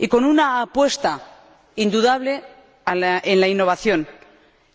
Y con una apuesta indudable por la innovación,